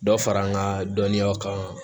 Dɔ fara an ka dɔnniyaw kan